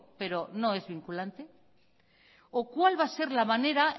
pero no es vinculante o cuál va a ser la manera